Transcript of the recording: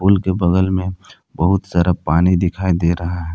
पुल के बगल में बहुत सारा पानी दिखाई दे रहा है।